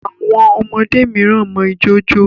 Àwọn ọmọdé miran mọ ìjọ ñjo.